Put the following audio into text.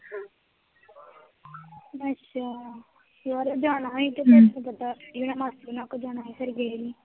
ਅੱਛਾ, ਯਾਰ ਓ ਜਾਣਾ ਸੀ, ਤੇ ਫੇਰ ਪਤਾ, ਇਹਨਾਂ ਨੇ ਮਾਸੀ ਹੋਣਾ ਕੋਲ ਜਾਣਾ ਸੀ ਤੇ ਫੇਰ ਗਏ ਨੀ